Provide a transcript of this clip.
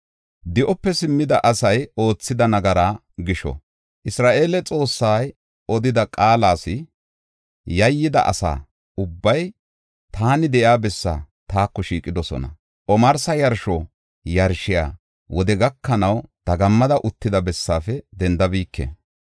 Di7ope simmida asay oothida nagaraa gisho, Isra7eele Xoossay odida qaalas yayyida asa ubbay taani de7iya bessaa taako shiiqidosona. Omarsa yarsho yarshiya wode gakanaw dagammada uttida bessaafe dendabike.